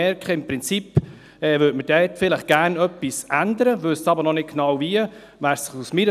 Dies, weil alle merken, dass man dort im Prinzip gerne etwas ändern möchte, aber noch nicht genau weiss wie.